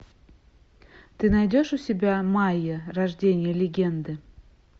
ты найдешь у себя майя рождение легенды